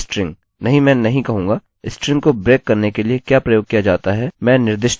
मैं कहूँगा explode string नहीं मैं नहीं कहूँगा – स्ट्रिंग को ब्रेक करने के लिए क्या प्रयोग किया जाता है मैं निर्दिष्ट करूँगा